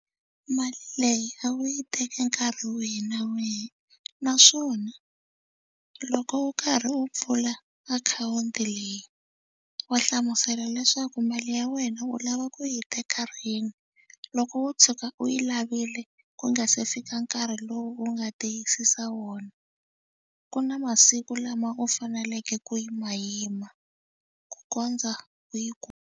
Mali leyi a wu yi teke nkarhi wihi na wihi naswona loko u karhi u pfula akhawunti leyi wa hlamusela leswaku mali ya wena u lava ku yi teka rini. Loko wo tshuka u yi lavile ku nga se fika nkarhi lowu u nga tiyisisa wona ku na masiku lama u faneleke ku yima yima ku kondza u yi ku.